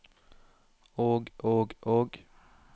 og og og